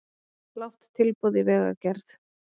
Lág tilboð í vegagerð